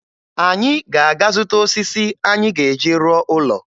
Anyị ga-aga zụta osisi anyị ga-eji rụọ ụlọ.